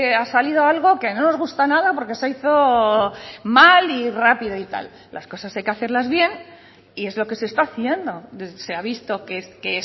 ha salido algo que no nos gusta nada porque se hizo mal y rápido y tal las cosas hay que hacerlas bien y es lo que se está haciendo se ha visto que